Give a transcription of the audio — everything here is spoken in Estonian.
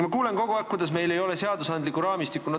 Ma kuulen kogu aeg, kuidas meil ei ole seadusraamistikku.